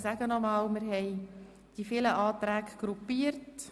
Wir haben die vielen Anträge gruppiert.